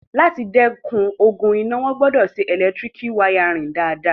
Láti dẹ́kun ogun iná, wọ́n gbọdọ̀ ṣe ẹlẹtíríkì wáyárìn dáadáa